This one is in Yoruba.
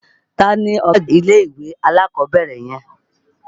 Ta ni ọ̀gá àgbà ilé-ìwé alákọ̀ọ́bẹ̀rẹ̀ yẹn?